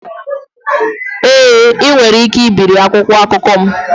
Èé ll, ị nwere ike ibiri akwụkwọ akụkọ m